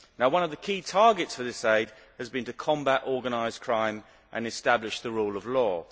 One of the key targets for this aid has been to combat organised crime and establish the rule of law.